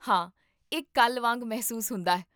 ਹਾਂ, ਇਹ ਕੱਲ੍ਹ ਵਾਂਗ ਮਹਿਸੂਸ ਹੁੰਦਾ ਹੈ